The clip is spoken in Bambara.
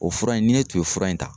O fura in ne tun ye fura in ta.